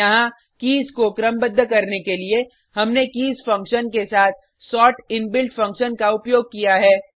यहाँ कीज़ को क्रमबद्ध करने के लिए हमने कीज़ फक्शन के साथ सोर्ट इनबिल्ट फंक्शन का उपयोग किया है